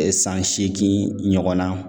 San segin ɲɔgɔnna